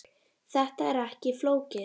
Þetta er ekki flókið